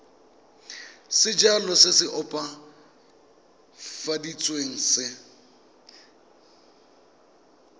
sejalo se se opafaditsweng se